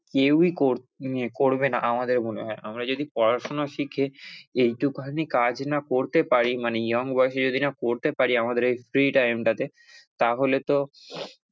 কেউই করবেনা আমাদের মনে হয়, আমরা যদি পড়াশুনা শিখে এইটুখানি কাজ না করতে পারি মানে young বয়সে যদি না করতে পারি আমাদের এই free time টাতে তাহলে তো,